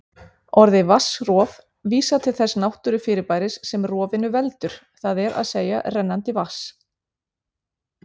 Orðið vatnsrof vísar til þess náttúrufyrirbæris sem rofinu veldur, það er að segja rennandi vatns.